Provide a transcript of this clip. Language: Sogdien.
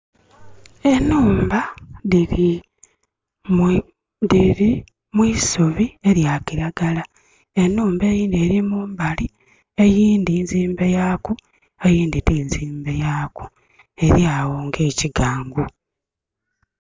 Enhumba diri mwisubi erya kiragala. Enhumba eyindi eri mumbali, eyindi nzimbe yaaku eyindi tinzimbe yaku, eryawo nga ekigangu